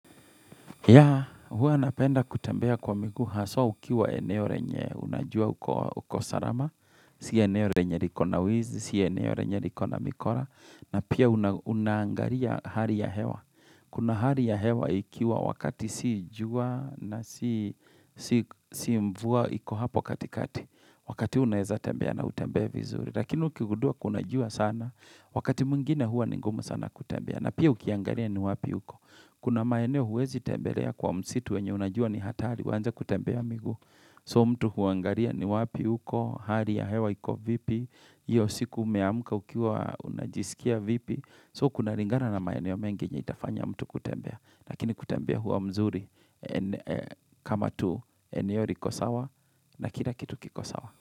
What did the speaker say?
Ya, huwa napenda kutembea kwa miguu, haswa ukiwa eneo renye, unajua uko sarama, si eneo renye riko na wizi, si eneo renye riko na mikora, na pia unangaria hali ya hewa. Kuna hali ya hewa ikiwa wakati si jua na si mvua, iku hapo katikati, wakati unaweza tembea na utembee vizuri. Lakini ukigudua kuna jua sana, wakati mwingine hua ningumu sana kutembea, na pia ukiangaria ni wapi uko. Kuna maeneo huwezi tembelea kwa msitu wenye unajua ni hatari, uanze kutembea miguu. So mtu huangaria ni wapi huko, hali ya hewa hiko vipi, hiyo siku umeamka ukiwa unajisikia vipi. So kuna ringana na maeneo mengi nye itafanya mtu kutembea. Lakini kutembea huwa mzuri kama tu eneo riko sawa na kila kitu kikosawa.